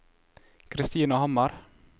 Christina Hammer